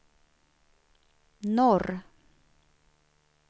norr